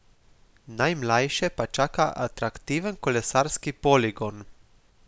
Najmlajše pa čaka atraktiven kolesarski poligon!